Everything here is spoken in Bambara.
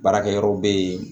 Baarakɛyɔrɔ bɛ yen